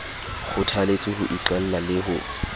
kgothaletswe ho iqalla le ho